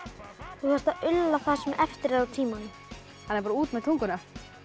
þú þarft að ulla það sem eftir er af tímanum þannig að bara út með tunguna